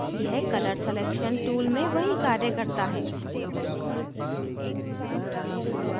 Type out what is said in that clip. यह colour selection tool में वही कार्य करता है